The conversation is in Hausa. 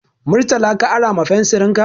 Murtala ka ara ma fensirin ka.